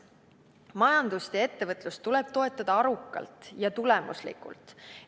Majandust ja ettevõtlust tuleb toetada arukalt ja tulemuslikult.